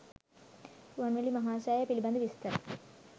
රුවන්වැලි මහා සෑය පිළිබඳව විස්තර